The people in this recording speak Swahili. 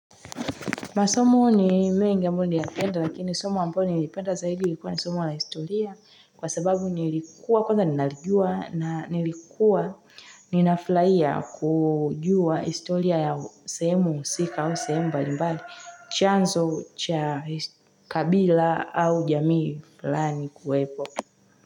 Masomo ni mengi ambayo ya kenda lakini somu ambao nilipeta zaidi likuwa ni somu wa la historia kwa sababu nilikuwa kwanza ninalijua na nilikuwa ninafurahia kujua historia ya semu sika au semba nimbali chanzo cha kabila au jamii flani kuwepo.